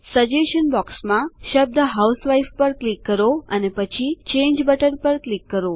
suggestion બોક્સમાં શબ્દ housewife પર ક્લિક કરો અને પછી ચાંગે બટન પર ક્લિક કરો